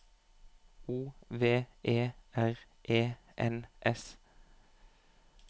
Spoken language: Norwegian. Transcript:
O V E R E N S